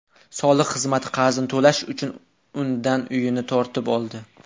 Soliq xizmati qarzini to‘lash uchun undan uyini tortib oldi.